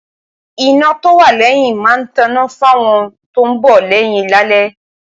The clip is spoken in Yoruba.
iná tó wà lẹ́yìn máa ń tọná fáwọn tó ń bọ̀ lẹ́yìn lálẹ́